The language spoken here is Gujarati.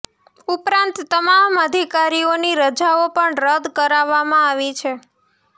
ઉપરાંત તમામ અધિકારીઓની રજાઓ પણ રદ કરાવામા આવી હતી